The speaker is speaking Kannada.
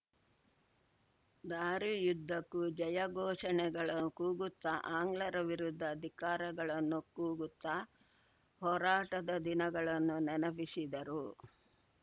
ದಾರಿಯುದ್ದಕೂ ಜಯ ಘೋಷಣೆಗಳ ಕೂಗುತ್ತಾ ಆಂಗ್ಲರ ವಿರುದ್ಧ ಧಿಕ್ಕಾರಗಳನ್ನು ಕೂಗುತ್ತಾ ಹೋರಾಟದ ದಿನಗಳನ್ನು ನೆನಪಿಸಿದರು